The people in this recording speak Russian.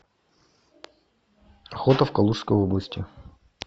охота в калужской области